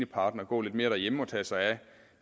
partner gå lidt mere derhjemme og tage sig af